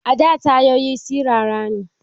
A da tayoyi sirara ne